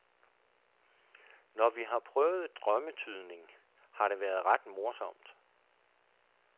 Når vi har prøvet drømmetydning, har det været ret morsomt.